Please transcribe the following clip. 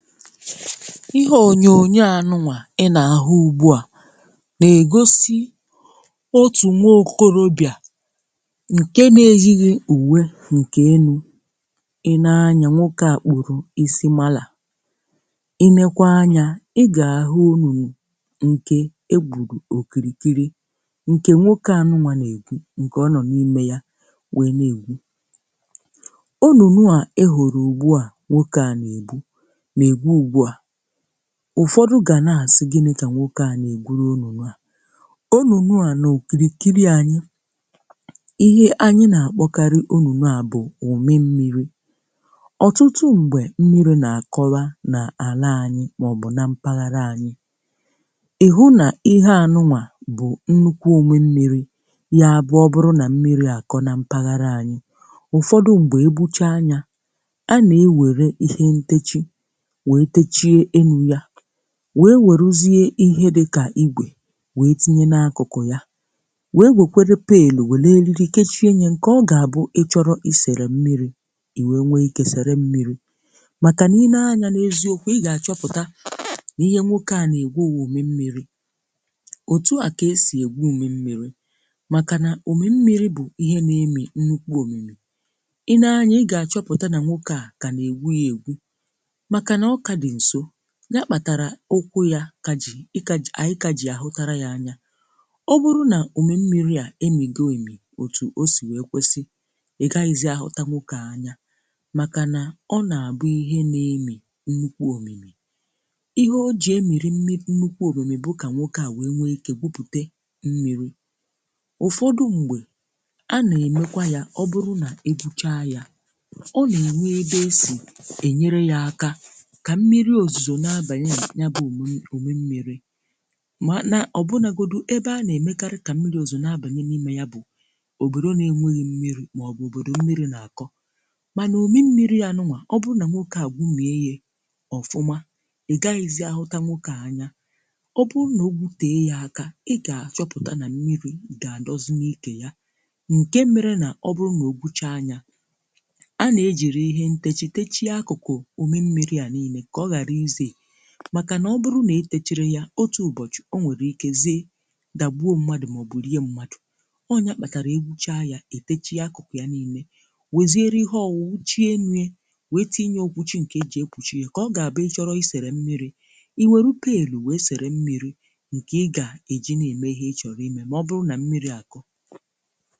Ihe onyonyo anụ a ị na-ahụ ugbu a na-egosi otu nwaokorobịa nke na-eyighi uwe nke enu. I nee anya, nwoke a kpụrụ isi mala. I nekwa anya, ị ga-ahụ ọnụnụ nke e gburu okirikiri, nke nwoke anụ a na-egwu, nke ọ nọ n’ime ya wee na-egbu. Onunu a i hụrụ ugbu a nke nwoke na-egwu, na egwu ugbu a. Ụfọdụ̀ ga na-asị, gịnị ka nwoke a na-egwuru ọnụnụ̀ a? Ọnụnụ a na-okirikiri, anyị ihe anyị na-akpọkarị ọnụnụ̀ a bụ̀ òmi mmiri. Ọtụtụ mgbe, mmiri na-akọwa na ala anyị maọ̀bụ̀ na mpaghara anyị. Ịhụ̀ nà ihe anụ a bụ̀ nnukwu òmè mmiri, ya bụ ọ bụrụ na mmiri akọ̀ na mpaghara anyị, ụfọdụ̀ mgbe e bucha ya, a na-ewere ihe ntechie wee techi elu ya. Wee werezie ihe dịkà ígwè wee tinye n’akụkụ̀ ya, wee wekwere pelu, weere ariri kechie ya. Nke ọ ga-abụ̀, ịchọrọ̀ i sere mmiri, i wee nwe ike sere mmiri. Màkà nà i nee anya, n’eziokwu, i ga-achọpụta na ihe nwoke a na-egwu bụ òmè mmiri. Otu à ka esi egwu òmè mmiri, màkà nà òmè mmiri bụ̀ ihe na-emì nnukwu omimì. I nee anya, i ga-achọpụta na nwoke a ka na-egwu ya egwu, maka na o ka dị nso. Ya kpatara ụkwụ̇ ya kà jì, a ka ji ànyị kà ji àhụ́tara yà anya. Ọ bụrụ̇ nà òmè mmiri à emìgo èmì, òtù o sì wee kwesị, ị gaghìzì ahụta nwoke a anya, màkà nà ọ nà-abụ ihe na-emì nnukwu omimì. Ihe o jì emìrì nnukwu omimì bụ̀ kà nwoke a wèe nwee ike gwupùte mmiri. Ụ̀fọdụ̀ mgbe, a na-emekwa ya. Ọ bụrụ na egwuchaa ya, ọ na-e wee ebe a esi enyere ya aka. Ka mmiri ozuzo na-abànye na ya bụ̀ òmi òmè mmiri, ma ọ bụ̀ na ọbụna ebe a na-emekarị ka mmiri ozuzo na-abànye n’ime, ya bụ̀ obodo na-enweghị mmiri, maọ̀bụ̀ obodo mmiri na-akọ. Mànà òmè mmiri ya nụà, ọ bụrụ na nwoke egwùmièe ya ọfụma, ị̀ gaghizì ahụta nwoke a anya. Ọ bụrụ na ọ gwute a ya aka, ị gà-achọpụta na mmiri̇ ga-adọzi n’ike ya. Nke mere na ọ bụrụ nà ọ gbu chá ya, a na-ejiri ihe ntechì techì akụkụ̀ òmi mmiri a niile ka o hara i zei. Màkà nà ọ bụrụ̀ nà e etechiri ya otu ụbọchị̀, o nwere ike zee, dabuo mmadụ̀, maọ̀bụ̀ rie mmadụ̀. Ọ nya kpatarà, egwuchaa ya, etechi ya akụkụ̀ ya niile, wezieri ihe o wụu, wuchie elu ya, wee tinye okwuchi nke e ji ekwuchi ya. Ka ọ ga-abụ, i chọrọ i sere mmiri, i were rupee elu, wee sere mmiri nke ị ga-eji na-eme ihe ị chọrọ ime, ma ọ bụrụ na mmiri akọ.